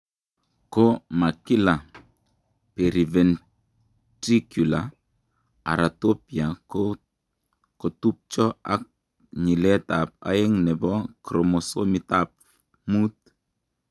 Ko ma kila, periventricular heratopia ko kotupcho ak nyiletab aeng' nebo chromosomitab 5.